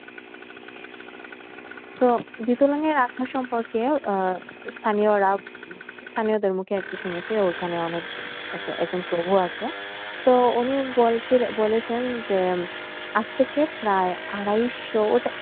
তো বিথঙ্গলের আখড়া সম্পর্কে আহ স্থানীয়রা স্থানীয়দের মুখে আরকি শুনেছি ওখানে অনেক এক~একজন প্রভু আছে তো উনি বলছিলেন~বলেছেন যে আজ থেকে প্রায় আড়াইশোর